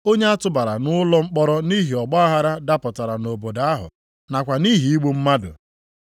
(Onye a tụbara nʼụlọ mkpọrọ nʼihi ọgbaaghara dapụtara nʼobodo ahụ, nakwa nʼihi igbu mmadụ.)